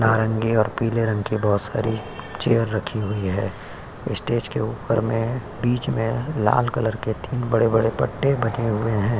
नरंगी और पीले रंग की बहोत सारी चेयर रखी हुई है। स्टेज के ऊपर में बीच में लाल कलर के तीन बड़े-बड़े पट्टे बने हुए हैं।